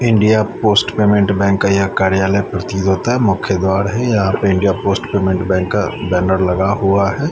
India Post Payment Bank का यह कार्यालय प्रतीत होता है मुख्य द्वार है यहाँ पे इंडिया पोस्ट पेमेंट बैंक का बैनर लगा हुआ है।